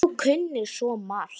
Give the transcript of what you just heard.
Þú kunnir svo margt.